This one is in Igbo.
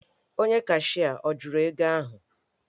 Onye cashịa ọ jụrụ ego ahụ?